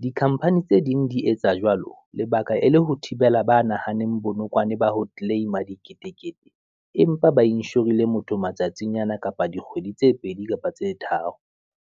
dikhamphani tse ding di etsa jwalo lebaka e le ho thibela ba nahaneng bonokwane ba ho claim-a diketekete. Empa ba inshorile motho matsatsinyana, kapa dikgwedi tse pedi kapa tse tharo.